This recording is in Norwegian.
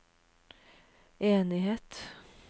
enighet